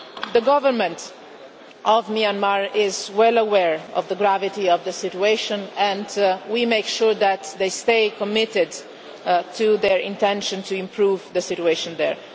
The Government of Myanmar is well aware of the gravity of the situation and we will make sure that they stay committed to their intention to improve the situation there.